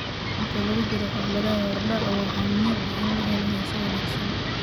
Inta lagu jiro xafladaha hordhaca, waxaa muhiim ah in la helo heeso wanaagsan.